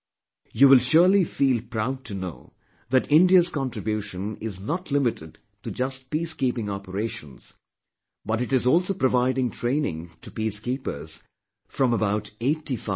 You will surely feel proud to know that India's contribution is not limited to just peacekeeping operations but it is also providing training to peacekeepers from about eighty five countries